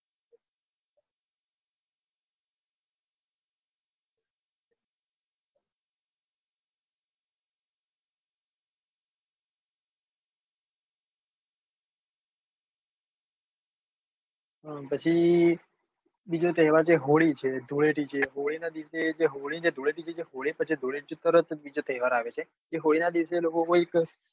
પછી બીજો તહેવાર છે હોળી છે ધૂળેટી છે હોળી ના જે હોળી ને જે ધૂળેટી હોળી પછી જ ધૂળેટી પર જ બીજો તહેવાર આવે છે તે હોળી નાં દિવસે કઈક